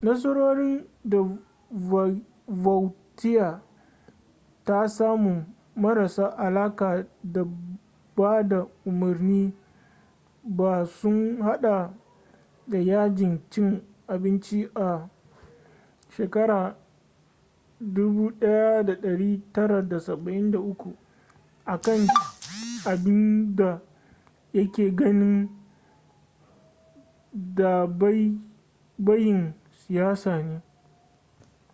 nasarorin da vautier ta samu marasa alaka da bada umarni ba sun hada da yajin cin abinci a 1973 a kan abin da ya ke ganin dabaibayin siyasa ne